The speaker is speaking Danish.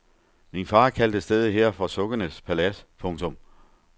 Min far kaldte stedet her for sukkenes palads. punktum